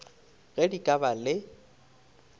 ge di ka ba le